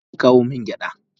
Yaushe zaki kawo min gyada?